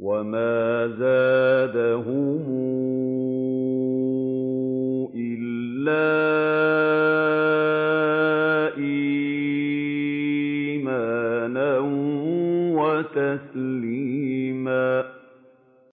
وَمَا زَادَهُمْ إِلَّا إِيمَانًا وَتَسْلِيمًا